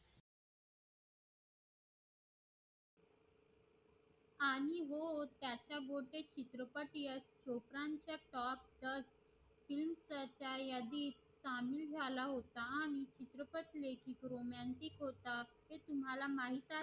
आणि हो चित्रपट तुम्हला माहित आहे